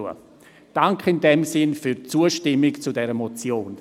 In diesem Sinne danke ich Ihnen für die Zustimmung zu dieser Motion.